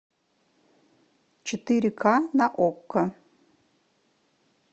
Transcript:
четыре ка на окко